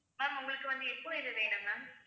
ma'am உங்களுக்கு வந்து எப்போ இது வேணும் ma'am